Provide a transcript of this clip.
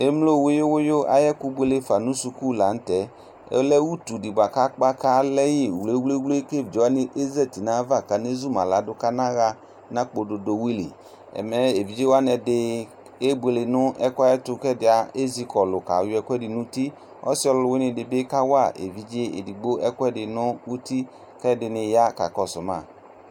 Emlo wiyiw wiyiw ayu ɛkʋ buele fa nʋ suku la nʋ tɛ Ɔlɛ utu di boa kʋ akpa kalɛ yi wʋlewʋle kʋ evidze wani ezati nayava kan'ezu ma ladʋ kanaɣa nakpɔ dodowili Ɛmɛ evidze wani ɛdi kebuele nʋ ɛkʋ yɛ ayɛtʋ kʋ ɛdi ezikɔlʋ kayɔ ɛkʋɛdi nʋ uti Ɔsi ɔlʋwini di bi kawa evidze edigbo ɛkʋɛdi nʋ uti kʋ ɛdini ya kakɔsʋ ma